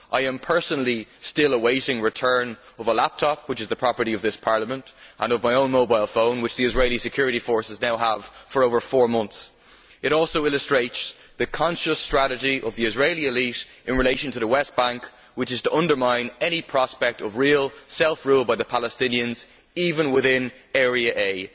I personally am still awaiting the return of a laptop which is the property of this Parliament, and of my own mobile phone, which the Israeli security forces have now had for over four months. It also illustrates the conscious strategy of the Israeli elite in relation to the West Bank, which is to undermine any prospect of real self rule by the Palestinians, even within Area A.